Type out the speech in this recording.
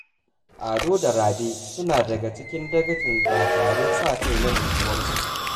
Ado da Rabe suna daga cikin daga cikin dakarun sa-kai na unguwarsu